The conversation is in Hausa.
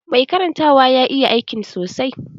Mai karantawa ya iya aikin sa sosai